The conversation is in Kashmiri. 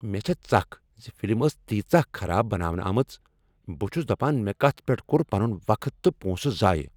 مےٚ چھےٚ ژکھ ز فلم ٲس تیٖژاہ خراب بناونہٕ آمٕژ۔ بہٕ چھس دپان مےٚ کتھ پیٹھ کوٚر پنن وقت تہٕ پونسہٕ ضایع۔